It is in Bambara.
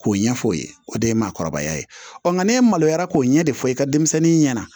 K'o ɲɛfɔ o ye o de ye maakɔrɔbaya ye ɔ nka ne maloya k'o ɲɛ de fɔ i ka denmisɛnnin ɲɛna